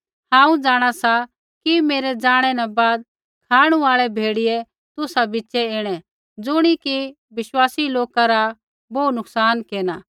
हांऊँ जाँणा सा कि मेरै ज़ाणै न बाद खाँणु आल़ै भेड़ियै झ़ूठै शिक्षक तुसा बिच़ै ऐणै ज़ुणी कि बिश्वासी लोका रा बोहू नुकसान केरना